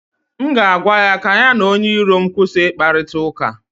m ga-agwa ya ka ya na onye iro m kwụsị ịkparịta ụka